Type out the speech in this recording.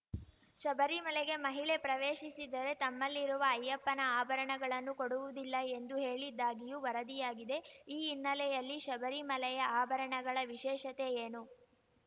ಶಬರಿಮಲೆಗೆ ಮಹಿಳೆ ಪ್ರವೇಶಿಸಿದರೆ ತಮ್ಮಲ್ಲಿರುವ ಅಯ್ಯಪ್ಪನ ಆಭರಣಗಳನ್ನು ಕೊಡುವುದಿಲ್ಲ ಎಂದು ಹೇಳಿದ್ದಾಗಿಯೂ ವರದಿಯಾಗಿದೆ ಈ ಹಿನ್ನೆಲೆಯಲ್ಲಿ ಶಬರಿಮಲೆಯ ಆಭಣಗಳ ವಿಶೇಷತೆ ಏನು